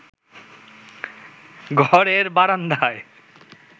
ঘরের বারান্দায়